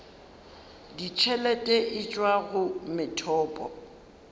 ditšhelete e tšwa go methopo